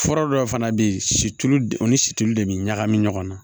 Fura dɔw fana bɛ yen situlu de u ni situlu de bɛ ɲagami ɲɔgɔn na